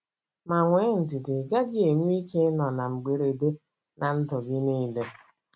Ma nwee ndidi - ị gaghị enwe ike ịnọ na mberede na ndụ gị niile.